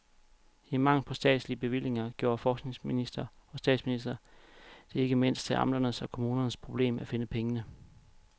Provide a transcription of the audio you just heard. I mangel på statslige bevillinger gjorde forskningsminister og statsminister det ikke mindst til amternes og kommunernes problem at finde pengene.